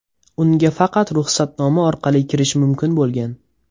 Unga faqat ruxsatnoma orqali kirish mumkin bo‘lgan.